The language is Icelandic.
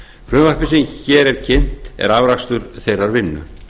frumvarpið sem hér er kynnt er afrakstur þeirrar vinnu